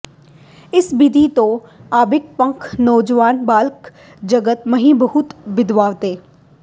ਇਸ ਬਿਧਿ ਕੋ ਅਬਿ ਪੰਥ ਬਨਾਵੌ ਸਕਲ ਜਗਤ ਮਹਿਂ ਬਹੁਤ ਬਿਦਤਾਵੋਂ